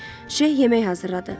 Şeyx yemək hazırladı.